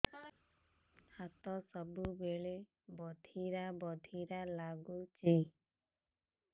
ହାତ ସବୁବେଳେ ବଧିରା ବଧିରା ଲାଗୁଚି